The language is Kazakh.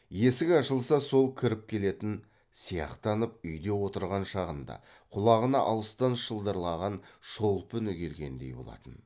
есік ашылса сол кіріп келетін сияқтанып үйде отырған шағында құлағына алыстан шылдырлаған шолпы үні келгендей болатын